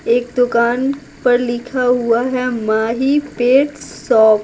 एक दुकान पर लिखा हुआ है माही पेट शॉप ।